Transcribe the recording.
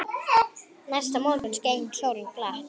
Næsta morgun skein sólin glatt.